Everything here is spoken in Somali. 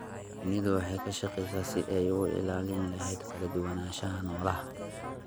Shinnidu waxay ka shaqeysaa sidii ay u ilaalin lahayd kala duwanaanshaha noolaha.